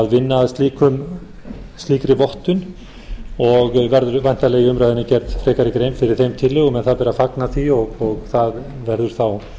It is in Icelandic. vinna að slíkri vottun og verður væntanlega í umræðunni gerð frekari grein fyrir þeim tillögum en það ber að fagna því og það verður þá